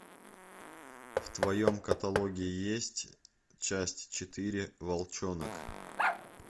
в твоем каталоге есть часть четыре волчонок